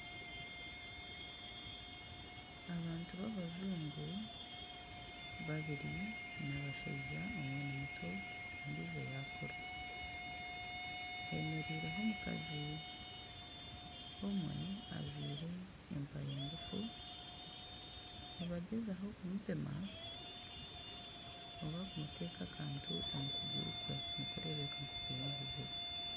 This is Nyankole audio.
Abantu b'abajungu babiri n'abashaija omwe ni muto ondiijo y'akura hemereireho omukazi omwe ajwaire empare ngufu nibagyezaho kumupima oba kumuta akantu omu kuguru kwe nikureebeka nk'okwine obuzibu.